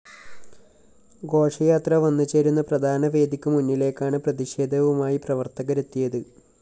ഘോഷയാത്ര വന്ന്‌ ചേരുന്ന പ്രധാന വേദിക്കു മുന്നിലേക്കാണ്‌ പ്രതിഷേധവുമായി പ്രവര്‍ത്തകരെത്തിയത്‌